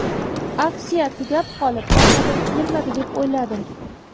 Aksiya tugab qolib, omadim kelmadi, deb o‘yladim.